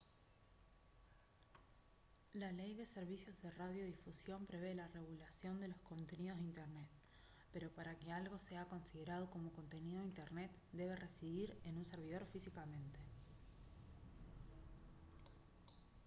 la ley de servicios de radiodifusión prevé la regulación de los contenidos de internet pero para que algo sea considerado como contenido de internet debe residir en un servidor físicamente